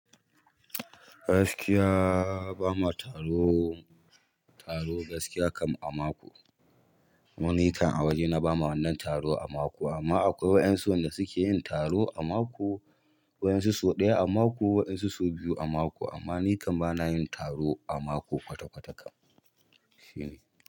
Gaskiya ba ma taro, taro gaskiya kam a mako. Ni kan a waje na ba ma wannan taro a mako amma akwai waƴansu da suke yin taro a mako, waƴansu sau ɗaya a mako, waɗansu sau biyu a mako amma ni kan bana yin taro a mako kwata-kwata kam shine.